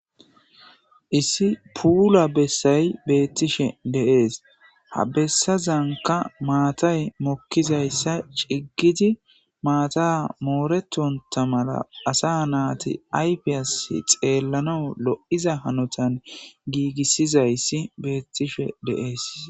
Issi puula bessay bettishe de'es ha bessazanka maatay mokkizayssa ciggidi maata moretonta malla asa nayti ayfes xellanawu loiza hanotan gigissizayssi bettishe de'es.